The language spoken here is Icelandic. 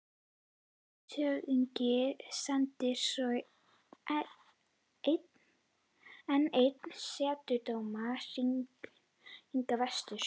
Landshöfðingi sendir svo enn einn setudómara hingað vestur.